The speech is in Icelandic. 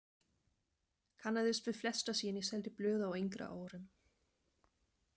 Kannaðist við flesta síðan ég seldi blöð á yngri árum.